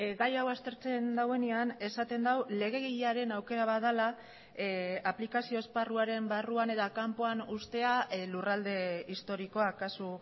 gai hau aztertzen duenean esaten du legegilearen aukera bat dela aplikazio esparruaren barruan eta kanpoan uztea lurralde historikoa kasu